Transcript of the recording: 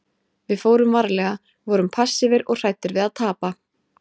Við fórum varlega, vorum passífir og hræddir við að tapa.